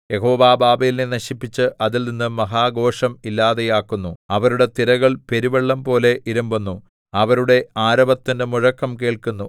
യഹോവ ബാബേലിനെ നശിപ്പിച്ച് അതിൽ നിന്നു മഹാഘോഷം ഇല്ലാതെയാക്കുന്നു അവരുടെ തിരകൾ പെരുവെള്ളംപോലെ ഇരമ്പുന്നു അവരുടെ ആരവത്തിന്റെ മുഴക്കം കേൾക്കുന്നു